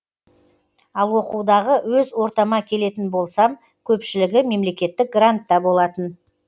ал оқудағы өз ортама келетін болсам көпшілігі мемлекеттік грантта болатын